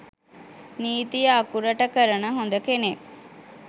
නීතිය අකුරට කරන හොඳ කෙනෙක්